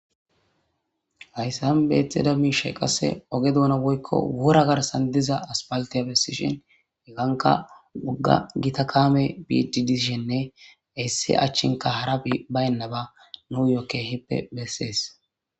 hayssan beettida miishay qasse oge douna woykko wora garsan diza aspaltiyabes sishen heganka ugga gita kaame biidi dishenne issi achchinka hara baynnaba nuu yoke hippe bessees